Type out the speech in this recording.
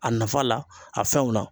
A nafa la a fɛnw na.